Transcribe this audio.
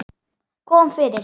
Kom fyrir.